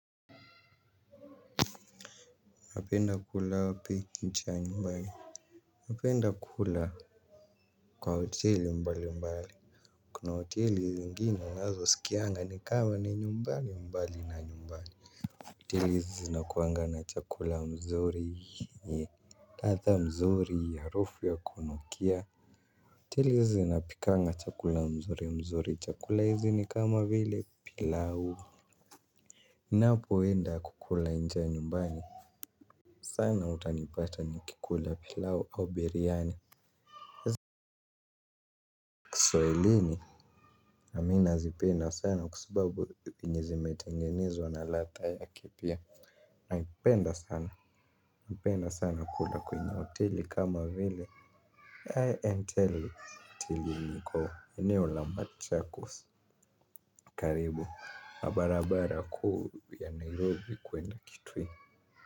Napenda kula hapi nchi ya nyumbani. Napenda kula kwa hoteli mbali mbali. Kuna hoteli zingine unazo sikianga ni kama ni nyumbani mbali na nyumbani hoteli hizi zinakuanga na chakula mzuri Tatha mzuri harufu ya kunukia hoteli hizi zinapikanga chakula mzuri mzuri chakula hizi ni kama vile pilau ninapo enda kukula nche ya nyumbani. Sana utanipata nikikula pilau au biryani. Kiswahilini amina zipenda sana kwa sababu venye zimetemgenezwa na ladha yake pia. Naipenda sana napenda sana kula kwenye hoteli kama vile I and tell hiteli yenye iko eneo la machacos karibu na barabara kuu ya Nairobi kuenda kitui.